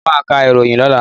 Mọ máa ka ìròyìn lọ́la.